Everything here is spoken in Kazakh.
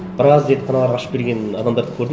біраз зертханалар ашып берген адамдарды көрдім